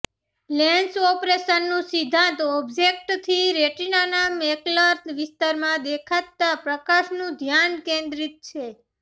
lens ઓપરેશનનું સિદ્ધાંત ઑબ્જેક્ટથી રેટિનાના મેકલર વિસ્તારમાં દેખાતા પ્રકાશનું ધ્યાન કેન્દ્રિત છે